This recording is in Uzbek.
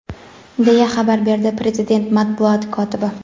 deya xabar berdi prezident matbuot kotibi.